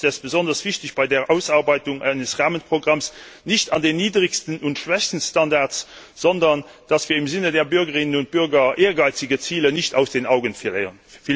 Deshalb ist es besonders wichtig, dass wir uns bei der Ausarbeitung eines Rahmenprogramms nicht an den niedrigsten und schwächsten Standards orientieren, sondern dass wir im Sinne der Bürgerinnen und Bürger ehrgeizige Ziele nicht aus den Augen verlieren.